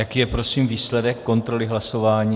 Jaký je prosím výsledek kontroly hlasování?